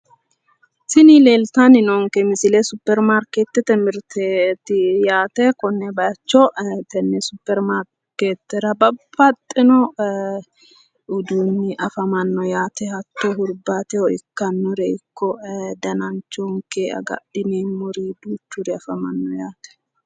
tini leeltanni noonke misile supermarkeettete mirteeti yaate konne bayicho tenne supermarkeetera babbaxino uduunni afamanno yaate hattono hurbaateho ikkannore ikko dananchoho agadhineemmori duuchuri afamanno yaate,